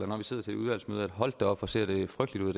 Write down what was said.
når vi sidder til et udvalgsmøde hold da op hvor ser det her frygteligt ud